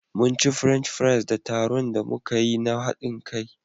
Munci French fries da tarun da muka yi na haɗin kai.